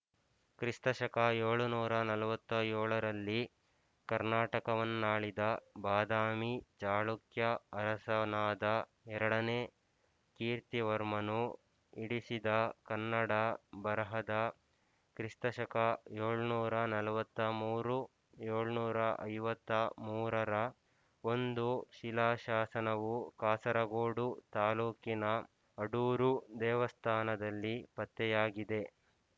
ಕ್ರಿಸ್ತಶಕ ಏಳುನೂರ ನಲವತ್ತ್ ಏಳರಲ್ಲಿ ಕರ್ನಾಟಕವನ್ನಾಳಿದ ಬಾದಾಮಿ ಚಾಳುಕ್ಯ ಅರಸನಾದ ಎರಡನೇ ಕೀರ್ತಿವರ್ಮನು ಇಡಿಸಿದ ಕನ್ನಡ ಬರಹದ ಕ್ರಿಸ್ತಶಕ ಏಳುನೂರ ನಲವತ್ತ್ ಮೂರು ಏಳುನೂರ ಐವತ್ತ ಮೂರರ ಒಂದು ಶಿಲಾಶಾಸನವು ಕಾಸರಗೋಡು ತಾಲ್ಲೂಕಿನ ಅಡೂರು ದೇವಸ್ಥಾನದಲ್ಲಿ ಪತ್ತೆಯಾಗಿದೆ